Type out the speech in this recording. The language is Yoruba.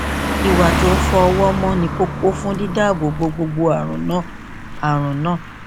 ìwà tó ń fọ ọwọ ni kókó fún dídáàbò bo gbogbo àrùn náà àrùn náà